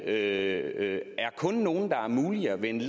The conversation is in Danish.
er en helt omvendt